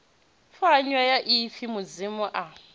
pfanywa ya ipfi mudzimu a